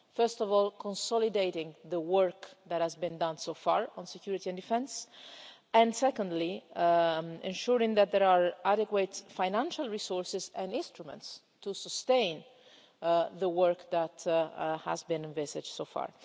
First of all, consolidating the work that has been done so far on security and defence. And secondly, ensuring that there are adequate financial resources and instruments to sustain the work that has been envisaged so far.